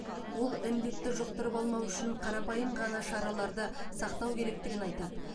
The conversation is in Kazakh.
ол індетті жұқтырып алмау үшін қарапайым ғана шараларды сақтау керектігін айтады